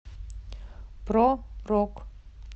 про рок